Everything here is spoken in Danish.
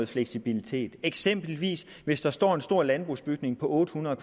fleksibilitet eksempelvis hvis der står en stor landbrugsbygning på otte hundrede